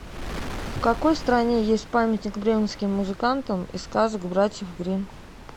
в какой стране есть памятник бременским музыкантам из сказок братьев гримм